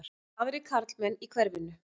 Aðrir karlmenn í hverfinu?